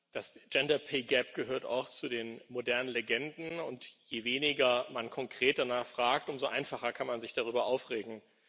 Das gehört auch zu den modernen Legenden, und je weniger man konkret danach fragt, umso einfacher kann man sich darüber aufregen.